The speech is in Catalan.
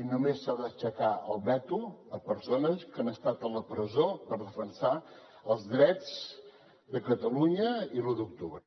i només s’ha d’aixecar el veto a persones que han estat a la presó per defensar els drets de catalunya i l’u d’octubre